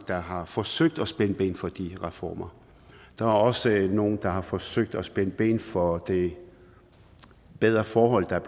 der har forsøgt at spænde ben for de reformer der er også nogle der har forsøgt at spænde ben for det bedre forhold der er